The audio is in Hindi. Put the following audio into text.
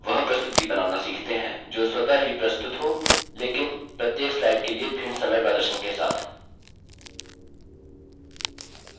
अब वह प्रस्तुति बनाना सीखते हैं जो स्वतः ही प्रस्तुत हो लेकिन प्रत्येक slide के लिए भिन्न समय प्रदर्शन के साथ